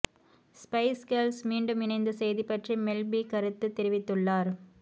spice Girls மீண்டும் இணைந்த செய்தி பற்றி மெல் பீ கருத்து தெரிவித்துள்ளார்